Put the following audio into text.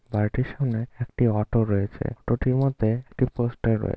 বাড়িটির সামনে একটি অটো রয়েছে। অটো -টির মধ্যে একটি পোস্টার রয়ে--